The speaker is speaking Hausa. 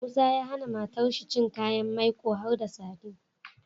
Musa ya hAna matar shi cin kayan mai ko har da sadin